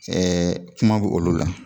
kuma bɛ olu la